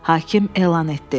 Hakim elan etdi.